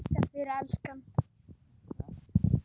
Þakka þér elskan.